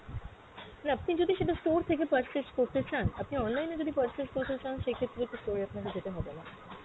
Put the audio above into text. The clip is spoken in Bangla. না আপনি যদি সেটা store থেকে purchase করতে চান, আপনি online এ যদি purchase করতে চান সেক্ষেত্র তো store এ আপনাকে যেতে হবেনা।